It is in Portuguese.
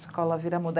Escola Viramundo.